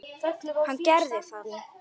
Hann gerði það.